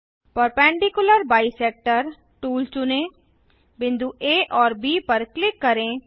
perpendicular Bisectorटूल चुनें बिंदु आ और ब पर क्लिक करें